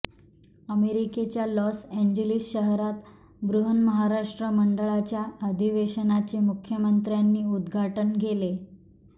अमेरिकेच्या Los Angeles शहरात बृहन्महाराष्ट्र मंडळाच्या अधिवेशनाचे मुख्यमंत्र्यांनी उदघाटन केले